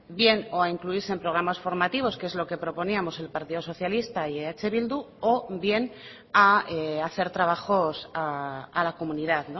bien o a incluirse en programas formativos que es lo que proponíamos el partido socialista y eh bildu o bien a hacer trabajos a la comunidad